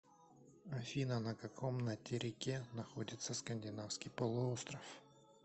афина на каком натерике находится скандинавский полуостров